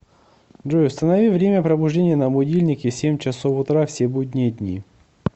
джой установи время пробуждения на будильнике семь часов утра все будние дни